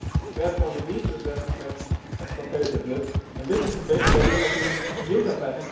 Therefore we need to address the questions of competitiveness and this is the basic idea of the Juncker Plan.